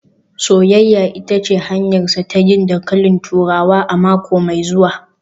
“Soyayya ita ce hanyarsa ta yin dankalin turawa a mako mai zuwa